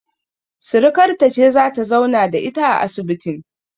Sirikarta ce zata zauna da ita a asibitin